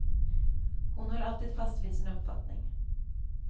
Hon höll alltid fast vid sin uppfattning.